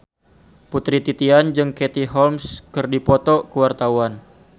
Putri Titian jeung Katie Holmes keur dipoto ku wartawan